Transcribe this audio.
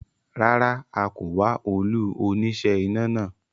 Rárá, a kò wá olú oníṣẹ́ iná náà